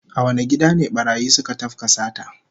A wane gida ne barayi suka tafka sata?